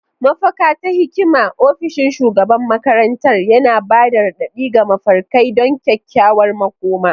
Mafaka ta hikima, ofishin shugaban makarantar, yana ba da raɗaɗi ga mafarkai don kyakkyawar makoma.